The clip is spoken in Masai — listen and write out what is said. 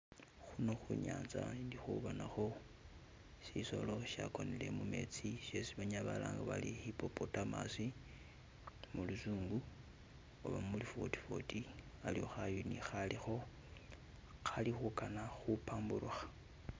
Khuno khunyanza indi khubonakho shisoolo shagonele mumetsi shesi banyala balanga bari hipopotamos muluzungu oba mulu fotifoti aliwo khanyunyi kali khugana kubamburka.